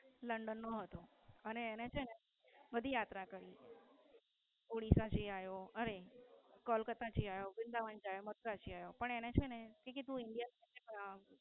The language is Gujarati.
London નો હતો અને તેણે છેને પદયાત્રા કરી ઓડિસા જય આવ્યો અરે કલકત્તા જય આવ્યો વૃંદાવન જય આવ્યો મથુરા જય આવ્યો. પણ એને છેને એવું કીધું કે India થી પાછા